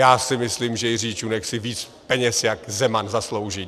Já si myslím, že Jiří Čunek si víc peněz jak Zeman zaslouží.